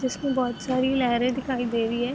जिसमें बहोत सारी लहरें दिखाई दे रही हैं।